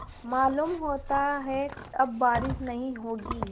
मालूम होता है अब बारिश नहीं होगी